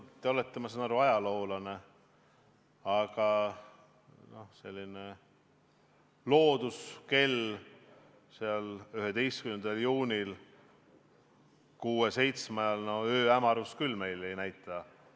Ma saan aru, et te olete ajaloolane, aga loodusekell 11. juuni õhtul kuue-seitsme ajal meil küll ööhämarust ei näita.